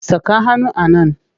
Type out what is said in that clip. Saka hannu a nan!